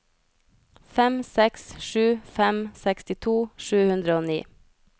fem seks sju fem sekstito sju hundre og ni